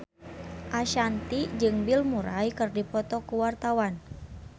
Ashanti jeung Bill Murray keur dipoto ku wartawan